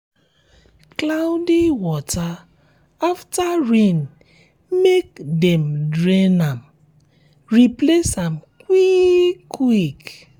cloudy water after rain make um dem drain am um replace am quick um quick